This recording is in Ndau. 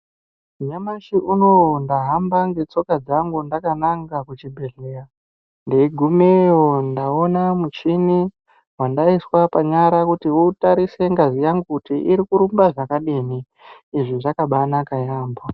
Nyamashi unowu ndahamba ngetsoka dzangu ndakananga kuchibhedhleya. Ndeigumeyo ndaona muchini wandaiswa panyara kuti utarise ngazi yangu kuti iri kurumba zvakadini. Izvi zvakabanaka yaambo.